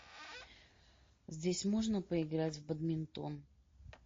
здесь можно поиграть в бадминтон